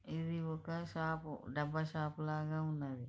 ఇది ఒక షాప్ . డబ్బా షాపు లాగా ఉంది.